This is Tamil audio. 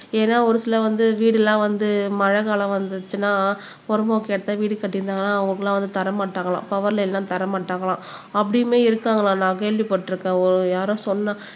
ஏன்னா ஒரு சில வந்து வீடெல்லாம் வந்து மழைக்காலம் வந்துச்சுன்னா பொறம்போக்கு இடத்துல வீடு கட்டியிருந்தாங்கன்னா அவங்களுக்கு எல்லாம் வந்து தர மாட்டாங்களாம் பவர் லைன்ல எல்லாம் தர மாட்டாங்களாம் அப்படியுமே இருக்காங்களாம் நான் கேள்விப்பட்டிருக்கேன் ஒ யாரோ சொன்னா